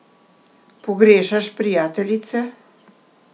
Pogrešaš prijateljice?